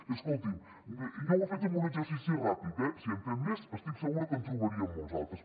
i escolti’m jo ho he fet amb un exercici ràpid eh si en fem més estic segura que en trobaríem molts altres